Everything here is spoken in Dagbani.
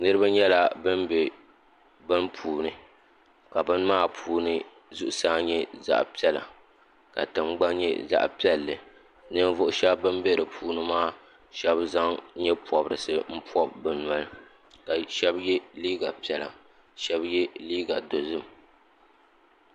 niriba nyɛla ban be bini puuni ka bini maa puuni zuɣusaa nyɛ zaɣ' piɛla ka tiŋgbani nyɛ zaɣ' piɛlli ninvuɣ' shɛba ban be di puuni maa shɛba zaŋ nye' pɔbirisi m-pɔbi bɛ noli ka shɛba ye liiga piɛla shɛba ye liiga dozim